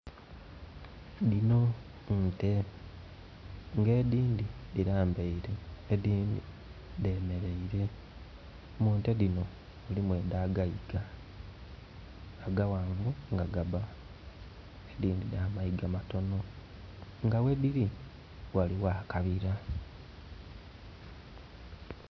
Dhino nte nga edindi dilambaire edindi dhemereire. Mu nte dino mulimu eda gaiga aga ghanvu nga gabba. Edindi dha mayiga matono nga we dhiri waliwo akabira